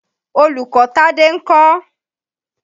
Olùkọ́ Tádé ń kọ́?